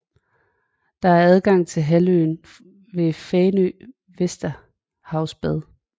Der er adgang til halvøen ved Fanø Vesterhavsbad